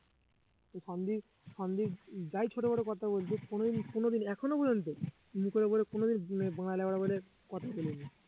সন্দ্বীপ সন্দ্বীপ যাই ছোট বড় কথা বলুক কোন দিন কোন দিন এখনো পর্যন্ত মুখের ওপরে কোনোদিন মানে বলে কথা বলিনি